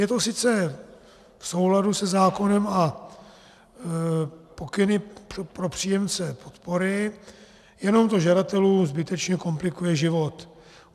Je to sice v souladu se zákonem a pokyny pro příjemce podpory, jenom to žadatelům zbytečně komplikuje život.